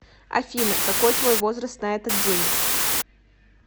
афина какой твой возраст на этот день